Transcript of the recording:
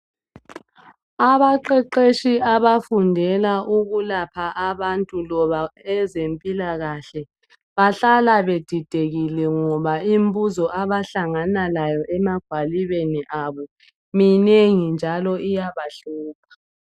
abaqeqetshi abafundela ukulapha abantu loba ezempilakahle bahlala bedidekile ngoba imbuzo abahlangana layo emagwalibeni abo minengi njalo iyabahlupha